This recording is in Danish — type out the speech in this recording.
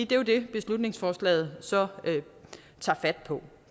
det er det beslutningsforslaget så tager fat på